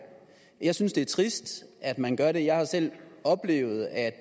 jeg synes det er trist at man gør det jeg har selv oplevet at